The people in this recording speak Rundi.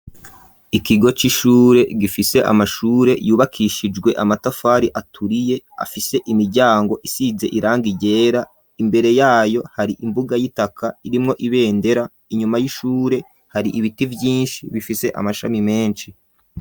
Ikigo c'ishure gifise amashure yubakishijwe amatafari aturiye, afise imiryango isize irangi ryera, imbere yayo hari imbuga y'itaka irimwo ibendera, inyuma y'ishure hari ibiti vyinshi bifise amashami menshi.